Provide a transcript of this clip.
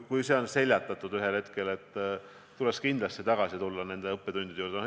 Kui see kriis on ühel hetkel seljatatud, tuleks kindlasti nende õppetundide juurde tagasi tulla.